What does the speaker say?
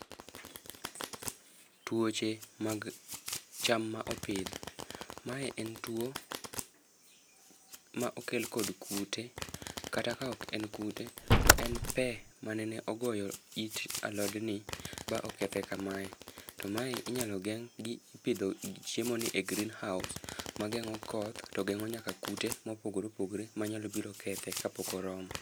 Tuoche mag cham ma opidh. Mae en twoo ma okel kod kute. Kata ka ok en kute, to en pee manene ogoyo it alodni ba okethe kamae. To mae inyalo geng gi ipidho chiemo ni e greenhouse, magengó koth, to gengó nyaka kute mopogore opogore manyalo biro kethe ka pok oromo.